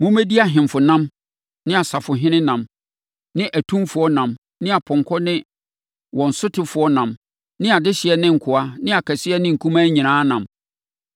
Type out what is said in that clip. Mommɛdi ahemfo nam ne asafohene nam ne atumfoɔ nam ne apɔnkɔ ne wɔn sotefoɔ nam ne adehyeɛ ne nkoa ne akɛseɛ ne nkumaa nyinaa nam.”